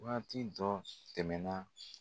Waati tɔ tɛmɛn na.